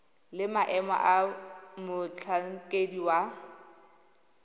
le maemo a motlhankedi wa